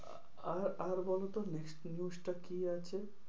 আহ আর বলতো next news টা কি আছে?